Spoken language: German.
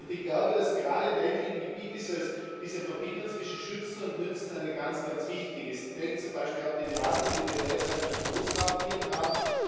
Ich glaube, dass gerade in ländlichen Gebieten diese Verbindung zwischen schützen und nützen eine ganz, ganz wichtige ist. Ich denke zum Beispiel auch an die Debatte, die wir derzeit bei den Großraubtieren haben.